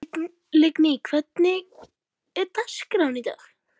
Lingný, hvernig er dagskráin í dag?